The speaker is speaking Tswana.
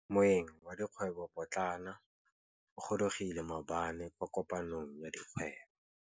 Moêng wa dikgwêbô pôtlana o gorogile maabane kwa kopanong ya dikgwêbô.